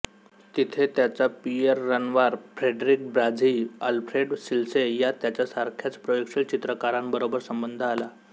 तेथे त्याचा Pierre Renoir Frederic Bazille Alfred Sisley या त्याच्यासारख्याच प्रयोगशील चित्रकारांबरोबर संबंध आला